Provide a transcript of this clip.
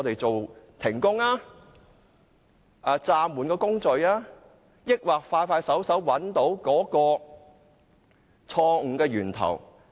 是停工、暫緩工序，或是盡快找出錯誤的源頭？